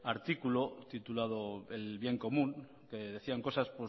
artículo titulado el bien común que decían cosas